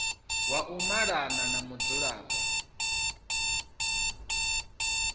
wa u malana na mudzulapo